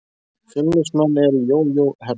Fjölnismenn eru í jójó-herferð.